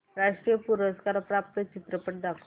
राष्ट्रीय पुरस्कार प्राप्त चित्रपट दाखव